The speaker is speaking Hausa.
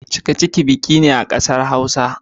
cikaciki biki ne a kasar Hausa.